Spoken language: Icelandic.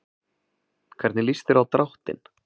Hvernig líst þér á dráttinn?